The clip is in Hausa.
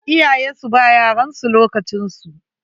Iyaye su ba ea yaransu lokacin su.